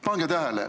Pange tähele!